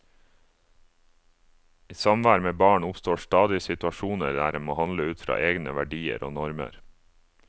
I samvær med barn oppstår stadig situasjoner der en må handle ut fra egne verdier og normer.